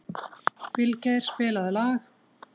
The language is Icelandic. Vilgeir, spilaðu lag.